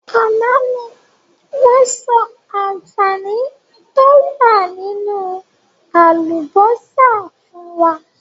Àná ni wọn sọ àǹfààní to wá nínú àlùbósà fún wa.